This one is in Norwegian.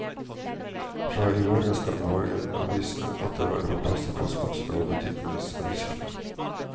Fra i morgen skal morgenavisene atter være på plass i postkasser og butikkenes avishyller.